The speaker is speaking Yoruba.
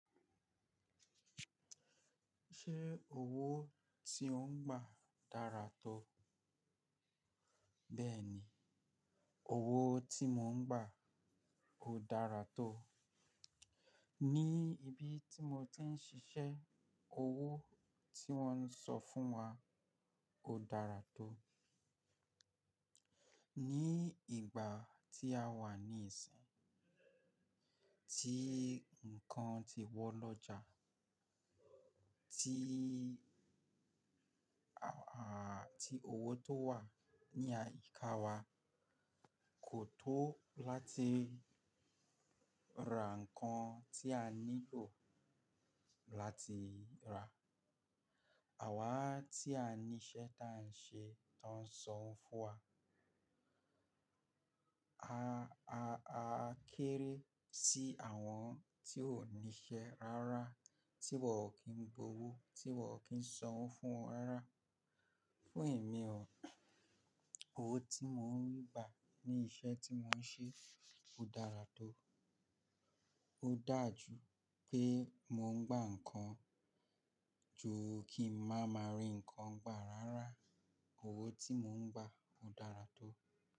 Ṣé owó tí ó ń gbà dára tó? Bẹ́ẹ̀ni, owó tí mò ń gbà ò dára tó. Ní ibi tí mo ti ń ṣiṣẹ́, owó tí wọ́n ń san fún wa ò dára tó. Ní ìgbà tí a wà ní ìsìn, tí nǹkan ti wọ́n lọ́jà, tí àà tí owó tó wà ní àyíká wa kò tó láti ra nǹkan tí a nílò láti rà. Àwá tí a ní iṣẹ́ ta n ṣe táa ń sanwo fún wa. A, a, a kéré sí àwọn tí ó ní iṣẹ́ rárá, tí wọ́n ò kí ń gbowó, tí wọ́n ò kí ń sanwó fún wọn rárá. Fún èmi ọ̀, owó tí mò ń gbà ní iṣẹ́ tí mò ń ṣe ò dára tó. Ó daà jú pé mò ń gbà nǹkan ju kí màá ma rí nǹkan gbà rárá. Owó tí mò ń gbà ò dára tó.